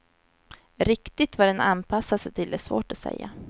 Riktigt vad den anpassar sig till är svårt att säga.